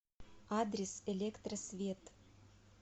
адрес электросвет